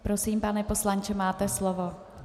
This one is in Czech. Prosím, pane poslanče, máte slovo.